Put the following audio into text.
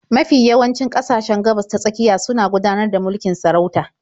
Mafi yawancin ƙasashen Gabas-ta-tsakiya suna gudanar da mulkin sarauta.